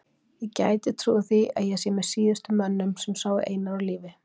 Ég gæti trúað því að ég sé með síðustu mönnum sem sáu Einar á lífi.